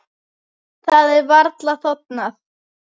Það er varla þornað.